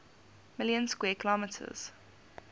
million square kilometers